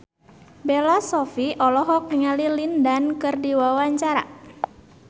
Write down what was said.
Bella Shofie olohok ningali Lin Dan keur diwawancara